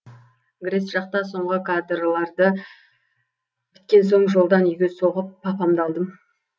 грэс жақта соңғы кадрларды біткен соң жолдан үйге соғып папамды алдым